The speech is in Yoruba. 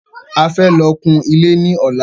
A fẹ́ lọ kun ilé ní ọ̀la